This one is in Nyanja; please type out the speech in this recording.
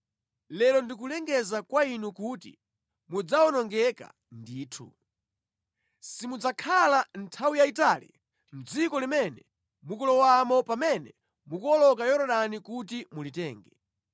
lero ndikulengeza kwa inu kuti mudzawonongeka ndithu. Simudzakhala nthawi yayitali mʼdziko limene mukulowamo pamene mukuwoloka Yorodani kuti mulitenge.